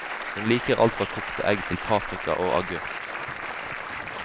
Hun liker alt fra kokte egg til paprika og agurk.